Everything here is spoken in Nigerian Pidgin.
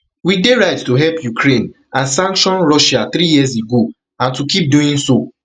we dey right to help ukraine and sanction russia three years ago and to keep doing so